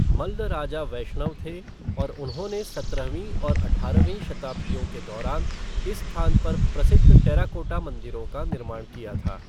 मल्ल राजा वैष्णव थे और उन्होंने सत्रहवीं और अठारहवीं शताब्दियों के दौरान इस स्थान पर प्रसिद्ध टेराकोटा मंदिरों का निर्माण किया था।